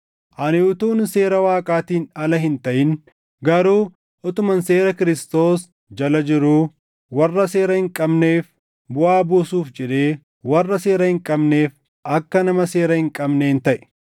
Ani utuun seera Waaqaatiin ala hin taʼin, garuu utuman seera Kiristoos jala jiruu, warra seera hin qabneef buʼaa buusuuf jedhee warra seera hin qabneef akka nama seera hin qabneen taʼe.